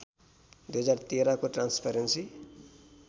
२०१३ को ट्रान्सपरेन्सी